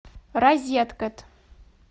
розеткед